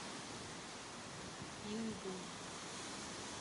пинду